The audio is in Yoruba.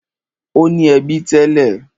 Ó ní ẹbí tẹ́lẹ̀.